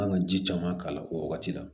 An kan ka ji caman k'a la o wagati la